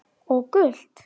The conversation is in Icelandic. Og gult?